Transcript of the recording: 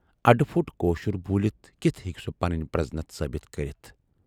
اَڈٕپھوٹ کٲشُر بوٗلِتھ کِتھٕ ہیکہٕ سُہ پنٕنۍ پرزنتھ ثٲبِت کٔرِتھ۔